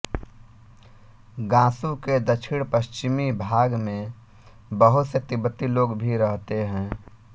Gansu के दक्षिणपश्चिमी भाग में बहुत से तिब्बती लोग भी रहते हैं